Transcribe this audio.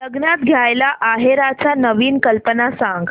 लग्नात द्यायला आहेराच्या नवीन कल्पना सांग